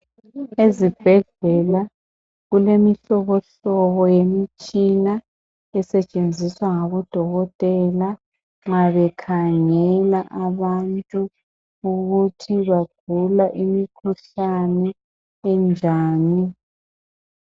Ezibhedlela kulemihlobohlobo yemitshina esetshenziswa ngabodokotela nxa bekhangela abantu ukuthi bagula imikhuhlane enjani.